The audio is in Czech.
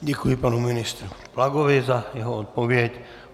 Děkuji panu ministru Plagovi za jeho odpověď.